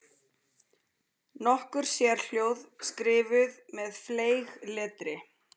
Nokkur sérhljóð skrifuð með fleygletri.